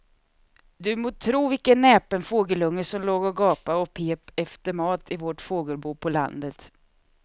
Du må tro vilken näpen fågelunge som låg och gapade och pep efter mat i vårt fågelbo på landet.